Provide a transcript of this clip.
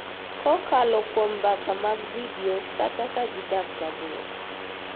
Kokalo kuom mbaka mag vidio, kata ka gidak mabor.